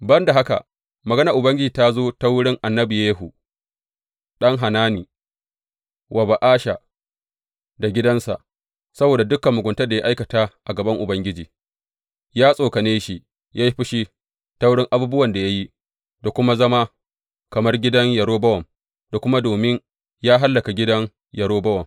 Ban da haka, maganar Ubangiji ta zo ta wurin annabi Yehu ɗan Hanani wa Ba’asha da gidansa, saboda dukan muguntar da ya aikata a gaban Ubangiji, ya tsokane shi yă yi fushi ta wurin abubuwan da ya yi, da kuma zama kamar gidan Yerobowam, da kuma domin ya hallaka gidan Yerobowam.